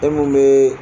E mun bɛ